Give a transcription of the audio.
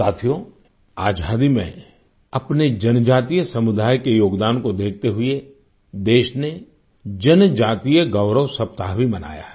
साथियो आजादी में अपने जनजातीय समुदाय के योगदान को देखते हुए देश ने जनजातीय गौरव सप्ताह भी मनाया है